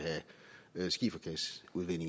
vil